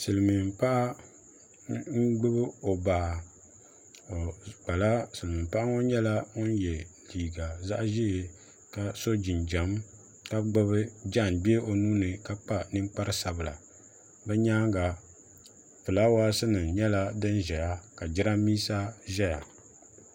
silmiin paɣa n gbubi o baa silmiin paɣa ŋo nyɛla ŋun yɛ liiga zaɣ ʒiɛ ka so jinjɛm ka gbubi jaangbee o nuuni ka kpa ninkpari sabila bi nyaanga fulaawaasi nim nyɛla din ʒɛya ka jiranbiisa ʒɛya